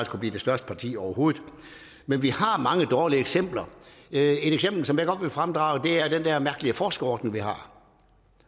kunne blive det største parti overhovedet men vi har mange dårlige eksempler et eksempel som jeg godt vil fremdrage er den der mærkelige forskerordning vi har